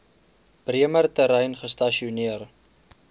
bremer terrein gestasioneer